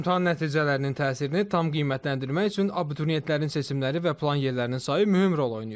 İmtahan nəticələrinin təsirini tam qiymətləndirmək üçün abituriyentlərin seçimləri və plan yerlərinin sayı mühüm rol oynayır.